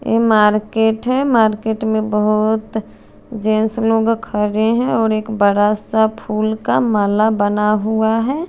ये मार्केट है मार्केट में बहोत जेंट्स लोग खड़े हैं और एक बड़ा सा फूल का माला बना हुआ है।